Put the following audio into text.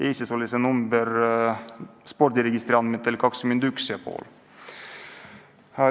Eestis oli see number spordiregistri andmetel 21 500.